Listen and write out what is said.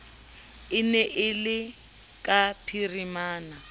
ne e le ka phirimana